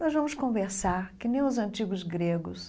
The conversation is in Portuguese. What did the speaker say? Nós vamos conversar, que nem os antigos gregos,